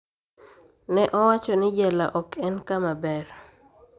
Ne owacho ni jela ok en kama ber